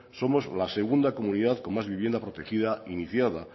somos la segunda comunidad con más vivienda protegida iniciada